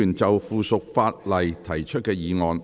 議員就附屬法例提出的議案。